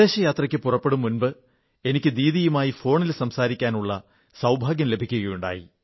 വിദേശയാത്രയ്ക്ക് പുറപ്പെടും മുമ്പ് എനിക്ക് ദീദിയുമായി ഫോണിൽ സംസാരിക്കാനുള്ള സൌഭാഗ്യം ലഭിക്കുകയുണ്ടായി